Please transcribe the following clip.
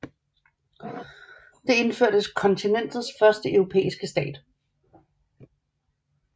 Det indførte kontinentets første europæiske skat